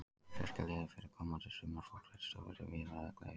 Til að styrkja liðið fyrir komandi sumar fór Kristófer um víðan völl í vetur.